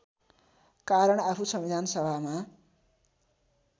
कारण आफू संविधानसभामा